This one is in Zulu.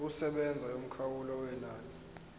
yokusebenza yomkhawulo wenani